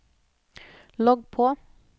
logg på